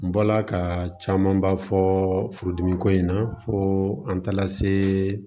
N bɔla ka camanba fɔ furudimi ko in na fo an taara se